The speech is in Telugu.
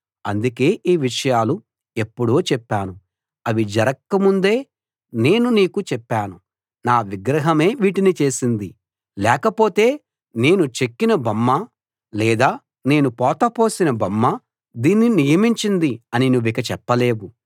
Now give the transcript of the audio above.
అందుకే ఈ విషయాలు ఎప్పుడో చెప్పాను అవి జరక్కముందే నేను నీకు చెప్పాను నా విగ్రహమే వీటిని చేసింది లేకపోతే నేను చెక్కిన బొమ్మ లేదా నేను పోతపోసిన బొమ్మ దీన్ని నియమించింది అని నువ్విక చెప్పలేవు